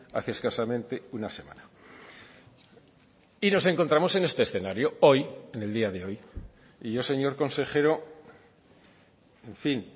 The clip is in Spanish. hace escasamente una semana y nos encontramos en este escenario hoy en el día de hoy y yo señor consejero en fin